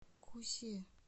кусе